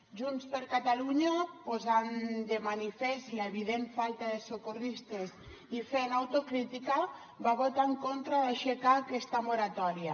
junts per catalunya posant de manifest l’evident falta de socorristes i fent autocrítica va votar en contra d’aixecar aquesta moratòria